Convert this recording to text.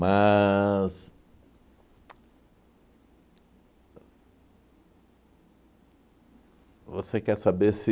Você quer saber se...